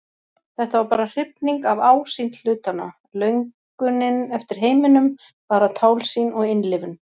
Þetta var bara hrifning af ásýnd hlutanna, löngunin eftir heiminum, bara tálsýn og innlifun.